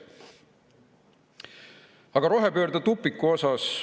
Aga rohepöörde tupiku kohta.